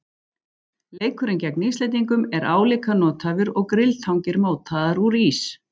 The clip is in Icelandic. Leikurinn gegn Íslendingum er álíka nothæfur og grilltangir mótaðar úr ís.